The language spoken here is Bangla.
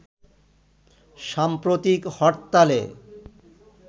সাম্প্রতিক হরতালে